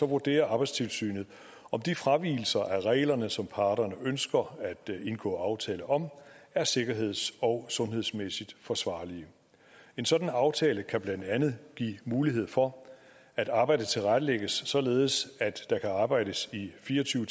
vurderer arbejdstilsynet om de fravigelser af reglerne som parterne ønsker at indgå aftale om er sikkerheds og sundhedsmæssigt forsvarlige en sådan aftale kan blandt andet give mulighed for at arbejdet tilrettelægges således at der kan arbejdes i fire og tyve